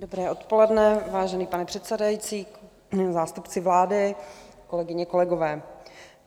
Dobré odpoledne, vážený pane předsedající, zástupci vlády, kolegyně, kolegové.